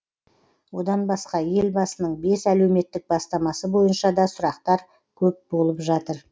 одан басқа елбасының бес әлеуметтік бастамасы бойынша да сұрақтар көп болып жатыр